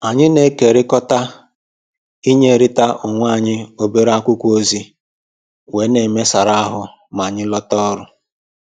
Anyị na-ekerikọta inyerịta onwe anyị obere akwụkwọ ozi wee na-emesara ahụ ma anyị lọta ọrụ